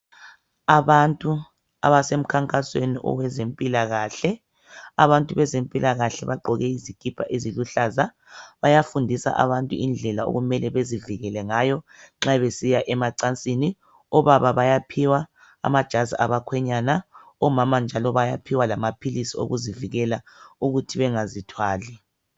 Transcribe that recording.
Abantu abasemkhankasweni owezempilakahle. Abantu bezempilakahle bagqoke izikipa eziluhlaza. Bayafundisa abantu indlela okumele bezivikele ngayo nxa besiya emacansini. Obaba bayaphiwa amajazi abakhwenyana, omama njalo bayaphiwa lamaphilisi okuzivikela ukuthi bengazithwali.